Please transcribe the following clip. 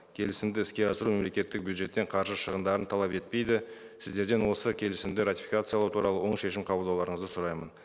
келісімді іске асыру мемлекеттік бюджеттен қаржы шығындарын талап етпейді сіздерден осы келісімді ратификациялау туралы оң шешім қабылдауларыңызды сұраймын